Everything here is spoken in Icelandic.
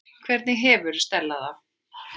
Hvernig hefur Stella það?